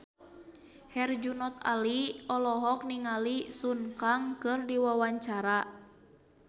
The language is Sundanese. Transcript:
Herjunot Ali olohok ningali Sun Kang keur diwawancara